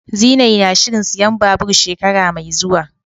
Zinai na shirin siyan babur shekara mai zuwa.